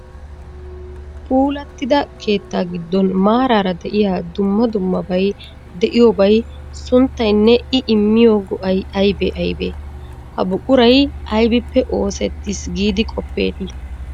Puulattida keettaa giddon maaraara de'iya dumma dummaabay de'iyobay sunttaynne I immiyo go'ay aybee aybee? Ha buquray aybippe oosettiis giidi qoppeetii?